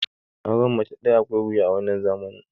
auren mace daya akwai wuya a wannan zamani